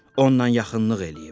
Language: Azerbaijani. Onunla yaxınlıq eləyib.